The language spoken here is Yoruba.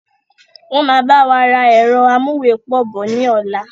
Wọn máa báwa ra ẹ̀rọ amúwepọ̀ bọ̀ ni ọ̀la